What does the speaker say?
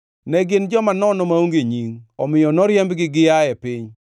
Ne gin joma nono maonge nying, omiyo noriembgi gia e piny.